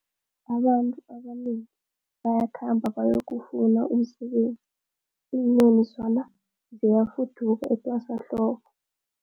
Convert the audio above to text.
Abantu abanengi bayakhamba bayokufuna umsebenzi, iinyoni zona ziyafuduka etwasahlobo.